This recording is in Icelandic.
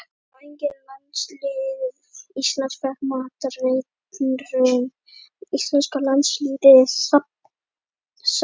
Sjá einnig: Landslið Íslands fékk matareitrun Íslenska landsliðið safnar skeggi